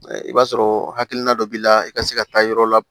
I b'a sɔrɔ hakilina dɔ b'i la i ka se ka taa yɔrɔ la